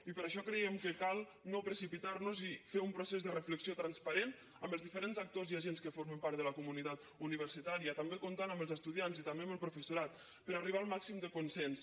i per això creiem que cal no precipitar nos i fer un procés de reflexió transparent amb els diferents actors i agents que formen part de la comunitat universitària també comptant amb els estudiants i també amb el professorat per arribar al màxim de consens